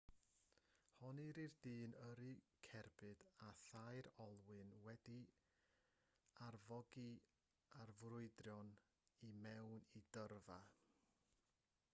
honnir i'r dyn yrru cerbyd â thair olwyn wedi'i arfogi a ffrwydron i mewn i dyrfa